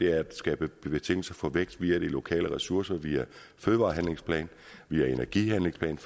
er at skabe betingelser for vækst via de lokale ressourcer via en fødevarehandlingsplan via en energihandlingsplan